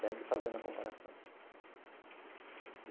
Sempre fazendo a comparação.